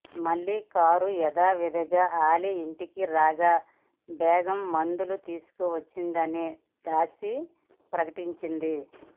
మళ్లీ కారు యాథావిధిగా అలీ ఇంటికి రాగా బేగం మందులు తీసుకువచ్చిందని దాసి ప్రకటించింది